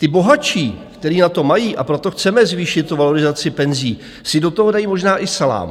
Ti bohatší, kteří na to mají, a proto chceme zvýšit tu valorizaci penzí, si do toho dají možná i salám.